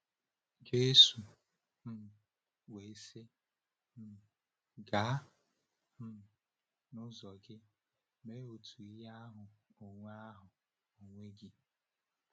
Jésù um wee sị um ya: “Gaa um n’ụzọ gị, mee otu ihe ahụ onwe ahụ onwe gị.”